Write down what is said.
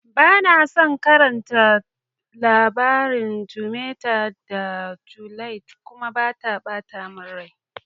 Bana son karatan labarin Romea da Juliet kuma, yana bata mun rai.